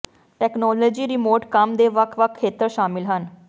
technology remote ਕੰਮ ਦੇ ਵੱਖ ਵੱਖ ਖੇਤਰ ਸ਼ਾਮਿਲ ਹਨ